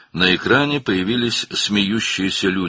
Ekranda gülən insanlar göründü.